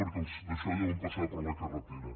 perquè els daixò deuen passar per la carretera